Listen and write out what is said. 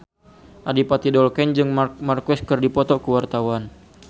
Adipati Dolken jeung Marc Marquez keur dipoto ku wartawan